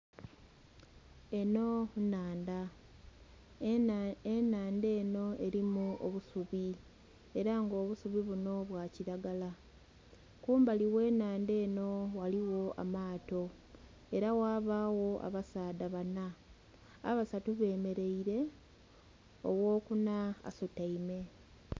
Enho nhandha, enhandha enho elimu obusubi, ela nga obusubi bwa kilalagala kumbali ghe nhandha enho ghaligho amaato ela ghabaagho abasaadha banha abasatu bemelaile, ogh'okunha asutaime.